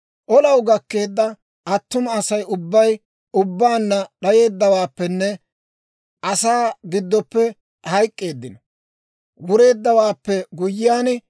«Olaw gakkeedda attuma Asay ubbay ubbaanna d'ayeeddawaappenne asaa giddoppe hayk'k'iide wureeddawaappe guyyiyaan,